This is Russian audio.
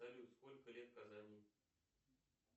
салют сколько лет казани